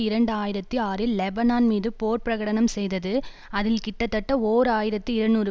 இரண்டு ஆயிரத்தி ஆறில் லெபனான் மீது போர் பிரகடனம் செய்தது அதில் கிட்டத்தட்ட ஓர் ஆயிரத்தி இருநூறு